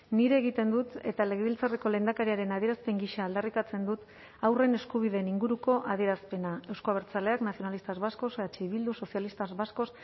nire egiten dut eta legebiltzarreko lehendakariaren adierazpen gisa aldarrikatzen dut haurren eskubideen inguruko adierazpena euzko abertzaleak nacionalistas vascos eh bildu socialistas vascos